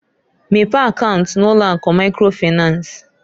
Mepee akaunt n'ụlọ akụ microfinanceǃ